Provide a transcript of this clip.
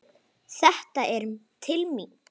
Þetta er til mín!